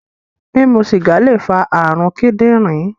Mimu sìgá lè fa ààrùn kíndìnrín